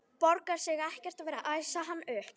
Borgar sig ekkert að vera að æsa hann upp.